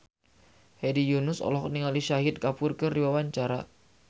Hedi Yunus olohok ningali Shahid Kapoor keur diwawancara